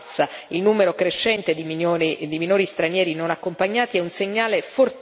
Il numero crescente di minori stranieri non accompagnati è un segnale fortissimo.